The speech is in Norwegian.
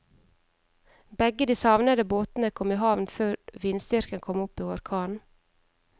Begge de savnede båtene kom i havn før vindstyrken kom opp i orkan.